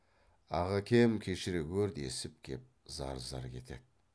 ағакем кешіре гөр десіп кеп зар зар кетеді